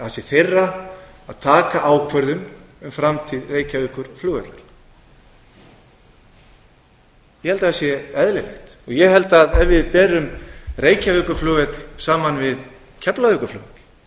það sé þeirra að taka ákvörðun um framtíð reykjavíkurflugvallar ég held að það sé eðlilegt ég held að ef við berum reykjavíkurflugvöll saman við keflavíkurflugvöll